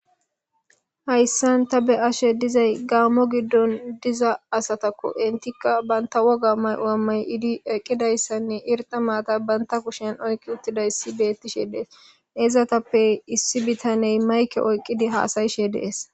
Hayisan ta be, ashe dizayi gamo gidon diza asatako etika banta woga mayo mayidi eqidayisanne irxa matha bantha kushen oyiqidiutidayisa betishe dee's isatappe issi bitane mayike oyiqidi hasayishe dees